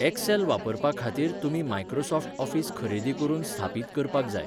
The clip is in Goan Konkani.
एक्सेल वापरपा खातीर तुमी मायक्रोसॉफ्ट ऑफिस खरेदी करून स्थापीत करपाक जाय.